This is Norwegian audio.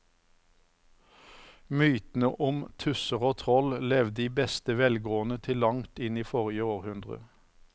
Mytene om tusser og troll levde i beste velgående til langt inn i forrige århundre.